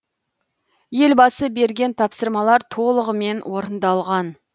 елбасы берген тапсырмалар толығымен орындалған